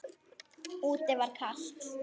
Úti var kalt.